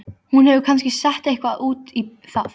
Hún hefur kannski sett eitthvað út í það.